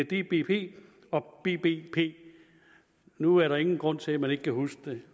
dbp og bbp nu er der ingen grund til at man ikke kan huske